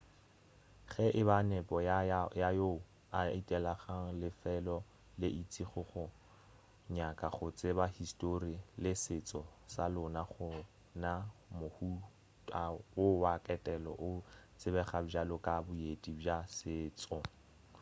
ge e ba nepo ya yoo a etelago lefelo le itšego ke go nyaka go tseba histori le setšo sa lona gona mohuta wo wa ketelo o tsebega bjalo ka boeti bja setšo